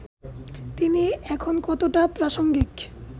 তিনি এখন কতটা প্রাসঙ্গিক